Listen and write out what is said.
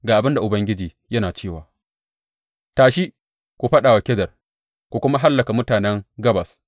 Ga abin da Ubangiji yana cewa, Tashi, ku fāɗa wa Kedar ku kuma hallaka mutanen Gabas.